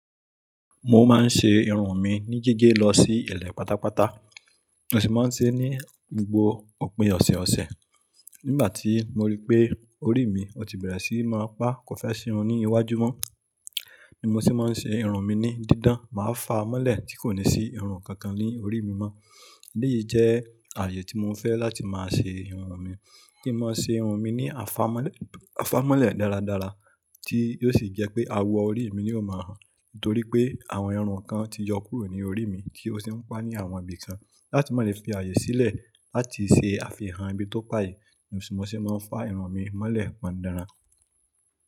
Mo máa ń ṣe irun mi ní gígé lọ sí ilẹ pàtàpàtà, mo sì máa ń se é ní gbogbo òpin ọ̀sẹ̀ ọsẹ̀. Nígbà tí mo rí pé orí mi o ti bẹ̀rẹ̀ sí máa pa kò fẹ́ si irun ní iwájú mọ́. Ní mo se mọ ń se irun mi ní dídán, màá fàá mọ́lẹ̀ tí kò ní sí irun kankan ní orí mi mọ́. Èyí jẹ́ ààyè tí mo fẹ́ láti máa se irun mi. Kí n mọ se irun mi ní àfámọ́lẹ̀ dáradára tí yóò sì jẹ́ pé awọ orí mi ni ó mọ hàn. Nítorí pé àwọn irun kan ti yọ kúrò ní orí mi tí ó sì ń pa ní àwọn ibi kan. Láti má le fi ààyè sílẹ̀ láti se àfihàn ibi tó pa yẹn. Mo se mọ ń fà irun mi mọ́lẹ̀ pọndanran.